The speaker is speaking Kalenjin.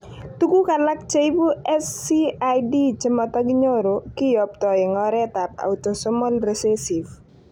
Tuguk alak cheibu SCID chemotokinyoru kiyoptoi en oret ab autosomal recessive